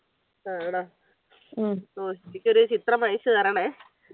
ആണോ ക്കൊരു ചിത്രം അയച്ചു തരണേ